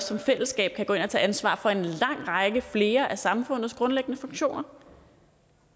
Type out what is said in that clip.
som fællesskab kan gå ind og tage ansvar for en lang række flere af samfundets grundlæggende funktioner